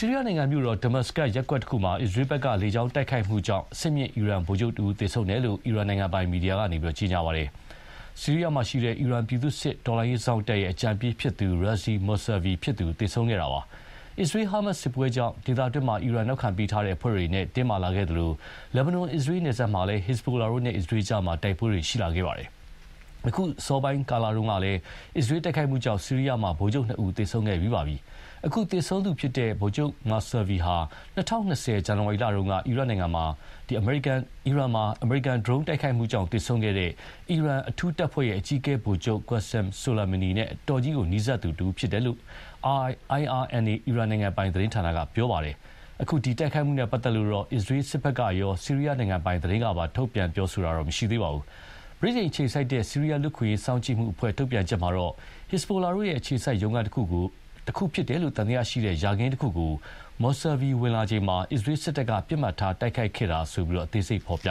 ီးရီးယားနိုင်ငံ မြို့တော် ဒမတ်စကဒ် ရပ်ကွက်တခုမှာ အစ္စရေးက လေကြောင်းတိုက်ခိုက်မှုကြောင့် အဆင့်မြင့် အီရန်ဗိုလ်ချုပ်တဦး သေဆုံးတယ်လို့ အီရန်နိုင်ငံပိုင်မီဒီယာက ကြေညာပါတယ်။ ဆီးရီးယားမှာရှိတဲ့ အီရန်ပြည်သူ့စစ် တော်လှန်ရေးစောင့်တပ်အကြံပေး Razi Mousavi ဖြစ်သူ သေဆုံးခဲ့တာပါ။ အစ္စရေး-ဟာမတ်စ်စစ်ပွဲကြောင့် ဒေသတွင်း အီရန်နောက်ခံပေးထားတဲ့အဖွဲ့တွေနဲ့ တင်းမာလာခဲ့သလို လက်ဘနွမ်-အစ္စရေးနယ်စပ်မှာလည်း ဟစ်စဘိုလာတို့နဲ့ အစ္စရေးကြား တိုက်ပွဲတွေ ရှိလာပါတယ်။ အခု အစောပိုင်းတုန်းကလည်း အစ္စရေးတိုက်ခိုက်မှုကြောင့် ဆီးရီးယားမှာ ဗိုလ်ချုပ်နှစ်ဦး သေဆုံးခဲ့ပြီးပါပြီ။ အခု သေဆုံးသူ Mousavi ဟာ ၂၀၂၀ ဇန်နဝါရီလတုန်းက အီရတ်မှာ အမေရိကန်ဒရုန်းတိုက်ခိုက်မှုကြောင့် သေဆုံးခဲ့တဲ့ အီရန် အထူးတပ်ဖွဲ့ အကြီးအကဲ ဗိုလ်ချုပ် Qussim Solimani နဲ့ အတော်ကြီးနီးစပ်သူတဦးလည်းဖြစ်တယ်လို့ IRNA အီရန်နိုင်ငံပိုင်သတင်းက ပြောပါတယ်။ အခု တိုက်ခိုက်မှုနဲ့ပတ်သက်လို့တော့ အစ္စရေးစစ်ဘက်ကရော ဆီးရီယားနိုင်ငံပိုင်သတင်းကပါ ထုတ်ပြန်တာတော့ မရှိသေးပါဘူး။ ဗြိတိန်အခြေစိုက် ဆီးရီးယားလူ့အခွင့်အရေးစောင့်ကြည်မှုအဖွဲ့ကထုတ်ပြန်တာမှာတော့ ဟစ်စဘိုလာတို့ရဲ့အခြေစိုက်ရုံးခန်းတခုလို့သံသယရှိတဲ့ ယာခင်းတခုကို Mausavi ဝင်လာချိန်မှာ အစ္စရေးစစ်တပ်က ပစ်မှတ်ထားတိုက်ခိုက်ခဲ့တာလို့ အသေးစိတ်ဖော်ပ